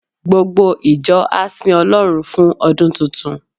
Gbogbo ìjọ á sin Ọlọ́run fún ọdún tuntun.